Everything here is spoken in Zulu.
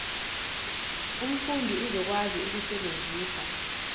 umfundi uzokwazi ukusebenzisa